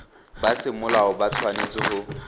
ba semolao ba tshwanetse go